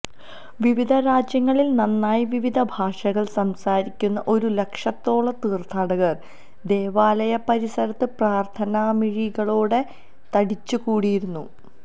വിവിധ രാജ്യങ്ങളിൽ നിന്നായി വിവിധ ഭാഷകൾ സംസാരിക്കുന്ന ഒരു ലക്ഷത്തോളം തീർത്ഥാടകർ ദേവാലയ പരിസരത്ത് പ്രാർത്ഥനാമിഴികളോടെ തടിച്ചുകൂടിയിരുന്നു